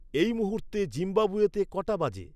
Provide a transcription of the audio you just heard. এই মুহূূর্তে জিম্বাবুয়েতে কটা বাজে